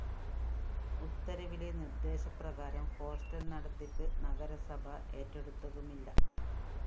ഉത്തരവിലെ നിര്‍ദ്ദേശപ്രകാരം ഹോസ്റ്റൽ നടത്തിപ്പ് നഗരസഭ ഏറ്റെടുത്തതുമില്ല